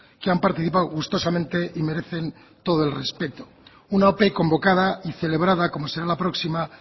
que han participado gustosamente y merecen todo el respeto una ope convocada y celebrada como será la próxima